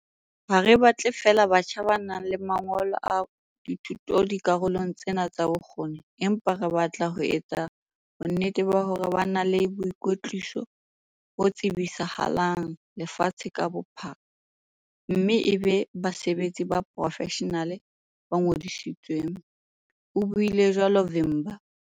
"Ha re batle feela batjha ba nang le mangolo a thuto dikarolong tsena tsa bokgoni, empa re batla ho etsa bonnete ba hore ba na le boikwetliso bo tsebisahalang lefatshe ka bophara mme e be basebetsi ba poro-feshenale ba ngodisitsweng," o buile jwalo Vimba.